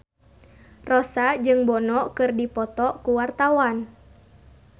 Rossa jeung Bono keur dipoto ku wartawan